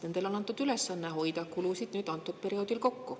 Nendele on antud ülesanne hoida kulusid kokku kindlal perioodil.